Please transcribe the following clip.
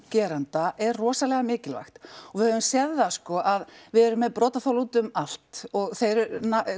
gerenda er rosalega mikilvæg og við höfum séð það sko að við erum með brotaþola úti um allt og þeir